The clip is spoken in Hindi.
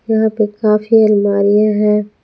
यहाँ पे काफी अलमारियाँ है।